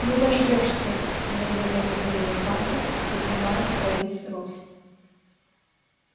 не дождёшься медленно выговорил хантер поднимаясь во весь рост